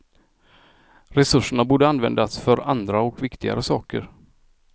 Resurserna borde användas för andra och viktigare saker.